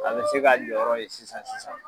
A bɛ se k'a jɔyɔrɔ ye sisan sisan.